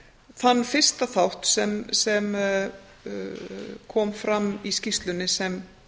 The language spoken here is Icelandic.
þann fyrsta þátt sem kom fram í skýrslunni sem